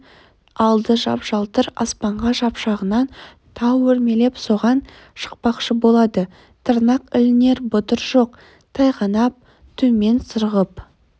алды жап-жалтыр аспанға шапшыған тау өрмелеп соған шықпақшы болады тырнақ ілінер бұдыр жоқ тайғанап төмен сырғып